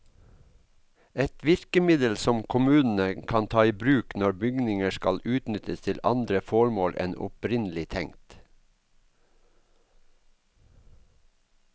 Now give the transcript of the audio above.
Et virkemiddel som kommunene kan ta i bruk når bygninger skal utnyttes til andre formål enn opprinnelig tenkt.